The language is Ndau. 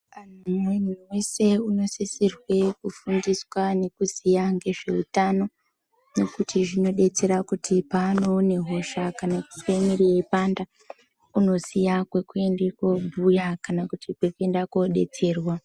Muntu weshe anosisirwe kufundiswa nekuziya nezveutano kuitira kuti panoona hosha kana kuzwa muviri weipanda unoziya kwekuenda kunobhuya kana kwekuenda kunodetserwa.